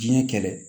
Diɲɛ kɛlɛ